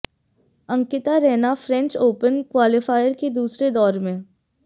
Ankita Raina French Open qualifier के दूसरे दौर मे